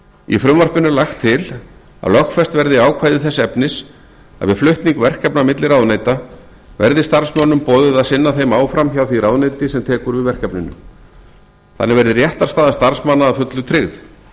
í frumvarpinu er lagt til að lögfest verði ákvæði þess efnis að við flutning verkefna milli ráðuneyta verði starfsmönnum boðið að sinna þeim áfram hjá því ráðuneyti sem tekur við verkefninu þannig verði réttarstaða starfsmanna að fullu tryggð að